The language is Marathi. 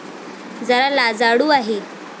जरा लाजाळू आहे.